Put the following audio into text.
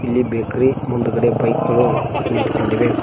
ಇಲ್ಲಿ ಬೇಕರಿ ಮುಂದಗಡೆ ಬೈಕ್ ಗಳು ನಿಂತು ಕೊಂಡಿವೆ.